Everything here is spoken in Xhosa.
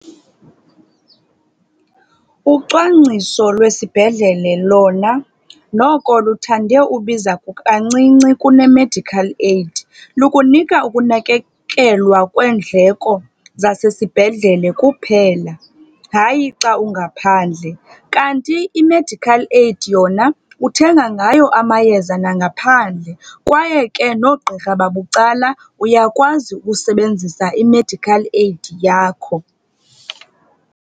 Ucwangciso lwesibhedlele lona noko luthande ubiza kancinci kune-medical aid. Lukunika ukunakekelwa kweendleko zasesibhedlele kuphela, hayi xa ungaphandle. Kanti i-medical aid yona uthenga ngayo amayeza nangaphandle kwaye ke noogqirha babucala, uyakwazi ukusebenzisa i-medical aid yakho.